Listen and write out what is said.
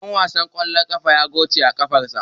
Dan wasan ƙwallon ƙafa ya goce a kafadarsa.